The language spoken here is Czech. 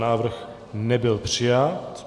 Návrh nebyl přijat.